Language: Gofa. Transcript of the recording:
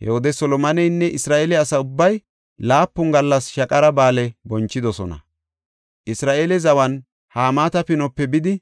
He wode Solomoneynne Isra7eele asa ubbay laapun gallas Shaqara Ba7aale bonchidosona; Isra7eele zawan Hamaata Pinuwape bidi